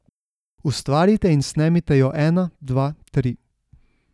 Ustvarite in snemite jo ena, dva, tri!